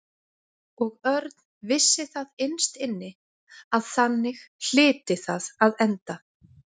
Og Örn vissi það innst inni að þannig hlyti það að enda.